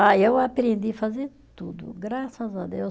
Ah e eu aprendi fazer tudo, graças a Deus.